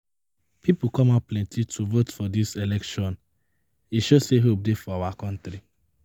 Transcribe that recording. People come out plenty to vote for dis election e show say hope dey for our country